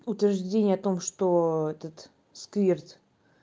утверждение о том что этот сквирт